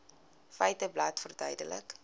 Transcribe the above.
feiteblad verduidelik